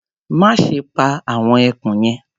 Má ṣe pa àwọn ẹkùn yẹn.